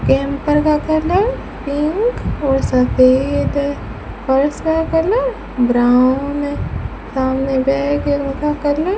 camper का colour pink और सफेद है फर्श का कलर ब्राउन है सामने बैग का कलर --